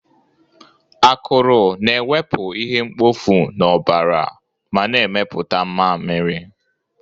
Akụrụ na-ewepụ ihe mkpofu n'ọbara ma na-emepụta mmamịrị